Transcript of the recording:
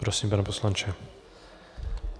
Prosím, pane poslanče.